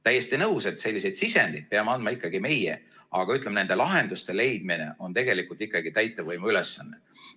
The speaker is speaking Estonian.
Täiesti nõus, et sellised sisendid peame andma meie, aga ütleme, nende lahenduste leidmine on tegelikult ikkagi täitevvõimu ülesanne.